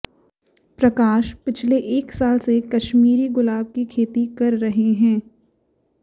प्रकाश पिछले एक साल से कश्मीरी गुलाब की खेती कर रहे हैं